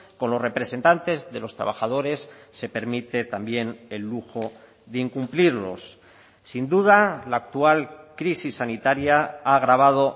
con los representantes de los trabajadores se permite también el lujo de incumplirlos sin duda la actual crisis sanitaria ha agravado